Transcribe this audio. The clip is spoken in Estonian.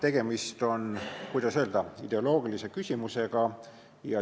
Tegemist on, kuidas öelda, ideoloogilise küsimusega.